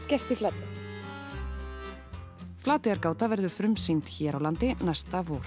gerst í Flatey Flateyjargáta verður frumsýnd hér á landi næsta vor